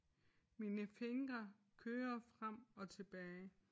Mine fingre kører frem og tilbage